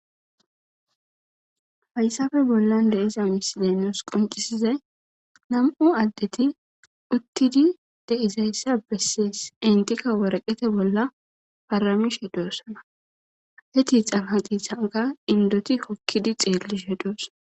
Fayssafe bollan deiza misideenos qoncisizay nam'u addeti uttidi deizayssa bessies intika waraqete bolla faramishe doosana he tixan ha qihanka indoti kokkidi xeelli she dos.